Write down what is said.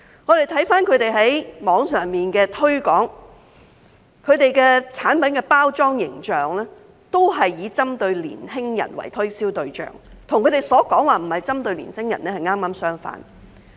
我們從他們在網上的推廣可見，他們的產品的包裝形象，均是以年輕人為推銷對象，與他們所說的並不是針對年輕人剛剛相反。